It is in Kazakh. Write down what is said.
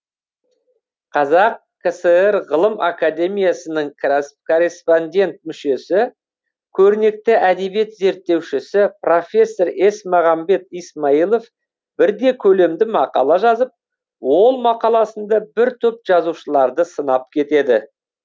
қазақ кср ғылым академиясының корреспондент мүшесі көрнекті әдебиет зерттеушісі профессор есмағамбет исмайылов бірде көлемді мақала жазып ол мақаласында бір топ жазушыларды сынап кетеді